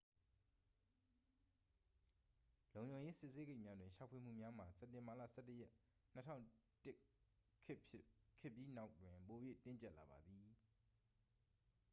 လုံခြုံရေး စစ်ဆေးဂိတ်များတွင် ရှာဖွေမှုများမှာ စက်တင်ဘာလ 11 ရက် 2001 ခေတ်ပြီးနောက်တွင် ပို၍ တင်းကျပ်လာပါသည်